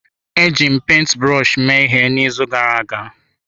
Eji m penti brọshi mee ihe n'izu gara aga.